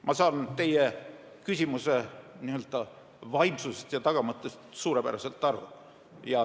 Ma saan teie küsimuse n-ö vaimsusest ja tagamõttest suurepäraselt aru.